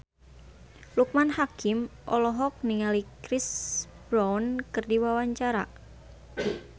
Loekman Hakim olohok ningali Chris Brown keur diwawancara